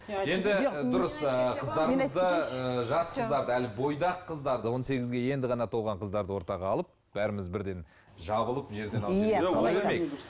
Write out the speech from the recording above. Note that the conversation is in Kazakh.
жас қыздарды әлі бойдақ қыздарды он сегізге енді ғана толған қыздарды ортаға алып бәріміз бірден жабылып жерден алып